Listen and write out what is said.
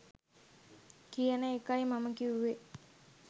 කියන එකයි මම කිව්වෙ